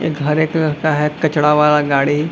एक हरे कलर का है कचरा वाला गाड़ी।